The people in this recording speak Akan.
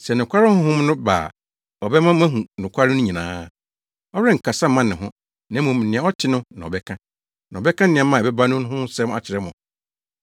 Sɛ nokware Honhom no ba a, ɔbɛma moahu nokware no nyinaa. Ɔrenkasa mma ne ho, na mmom nea ɔte no na ɔbɛka, na ɔbɛka nneɛma a ɛbɛba no ho nsɛm akyerɛ mo.